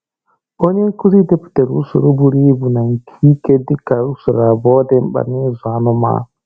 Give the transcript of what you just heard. Onye nkụzi depụtara usoro buru ibu na nke ike dị ka usoro abụọ dị mkpa na-ịzụ anụmanụ.